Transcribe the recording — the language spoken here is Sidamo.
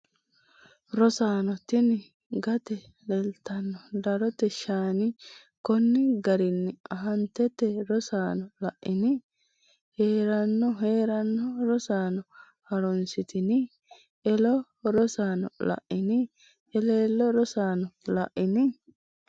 Rosaano tini gate leelitano darote shaani konni garinni aantete Rosaano la’ini? hee’ranno hee’raanno Rosaano ha’runsitini? elo Rosaano, la’ini? eleelle Rosaano la’ini?